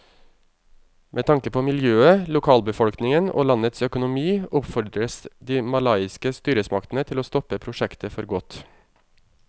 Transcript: Med tanke på miljøet, lokalbefolkningen og landets økonomi oppfordres de malaysiske styresmaktene til å stoppe prosjektet for godt.